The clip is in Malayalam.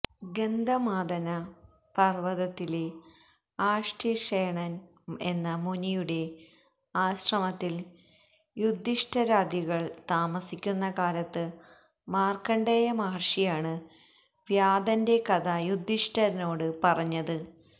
ഗന്ധമാദന പര്വതത്തിലെ ആര്ഷ്ടിഷേണന് എന്ന മുനിയുടെ ആശ്രമത്തില് യുധിഷ്ഠിരാദികള് താമസിക്കുന്ന കാലത്ത് മാര്ക്കണ്ഡേയ മഹര്ഷിയാണ് വ്യാധന്റെ കഥ യുധിഷ്ഠിരനോട് പറഞ്ഞത്